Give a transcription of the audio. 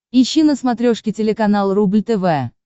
ищи на смотрешке телеканал рубль тв